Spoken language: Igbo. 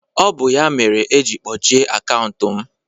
ọ bụ ya mere eji kpọchie akaụntụ m